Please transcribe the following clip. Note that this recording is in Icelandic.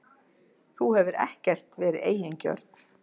Þú hefur ekkert verið eigingjörn.